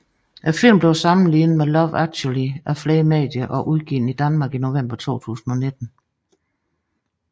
Filmen blev sammenlignet med Love Actually af flere medier og udgivet i Danmark i november 2019